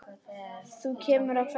Þú kemur að kveðja.